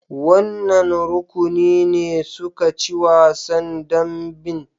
Wannan rukuni ne suka ci wasan dambin?